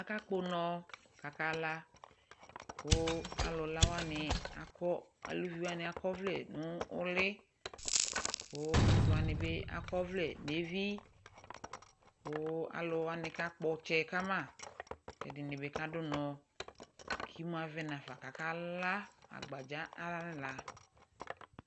Akakpɔ ʋnɔ kakala, kʋ alʋ la wani, alʋvi wani akɔ ɔvlɛ nʋ ʋli kʋ asi wani bi akɔ ɔvlɛ nʋ evi kʋ alʋ wani kakpɔ ɔtsɛ kama kʋ ɛdini bi kadʋ ʋnɔ kʋ imu avɛ nafa kakala agbadza ayala